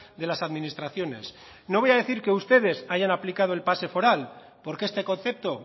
de las administraciones no voy a decir que ustedes hayan aplicado el pase foral porque este concepto